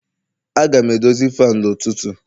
Aga m edozi fanu n'ụtụtụ